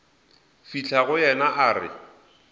fihla go yena a re